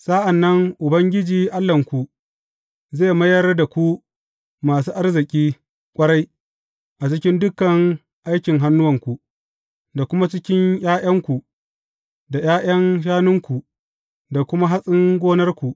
Sa’an nan Ubangiji Allahnku zai mayar da ku masu arziki ƙwarai a cikin dukan aiki hannuwanku, da kuma cikin ’ya’yanku, da ’ya’yan shanunku, da kuma hatsin gonarku.